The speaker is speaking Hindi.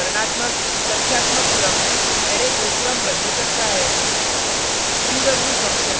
sort फंक्शन वर्णात्मक/संख्यात्मक क्रम में अरै को क्रमबद्ध करता है